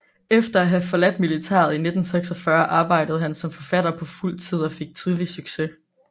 Efter at have forladt militæret i 1946 arbejdede han som forfatter på fuld tid og fik tidligt succes